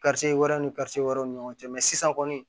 wɛrɛw ni wɛrɛw ni ɲɔgɔn cɛ mɛ sisan kɔni